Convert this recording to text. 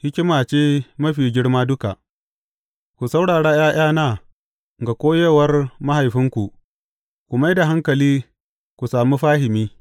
Hikima ce mafi girma duka Ku saurara ’ya’yana ga koyarwar mahaifinku; ku mai da hankali, ku sami fahimi.